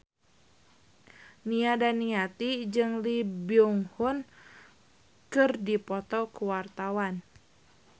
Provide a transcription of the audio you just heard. Nia Daniati jeung Lee Byung Hun keur dipoto ku wartawan